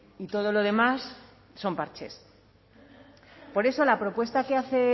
y todo lo demás son parches por eso la propuesta que hace